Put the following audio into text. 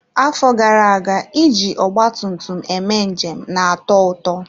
Afọ gara aga iji ọgba tum tum eme njem na-atọ ụtọ.